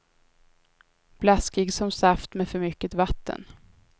Blaskig som saft med för mycket vatten.